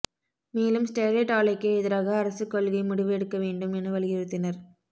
மேலும் ஸ்டெர்லைட் ஆலைக்கு எதிராக அரசு கொள்கை முடிவு எடுக்க வேண்டும் என வலியுறுத்தினர்